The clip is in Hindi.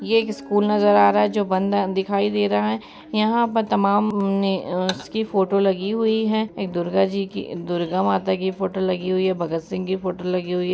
ये एक स्कूल नजर आ रहा है जो बंद अ दिखाई दे रहा है| यहाँ पर तमाम म ने उसकी फोटो लगी हुई है एक दुर्गा जी की एक दुर्गा माता की फोटो लगी हुई है भगत सिंह की फोटो लगी हुई है।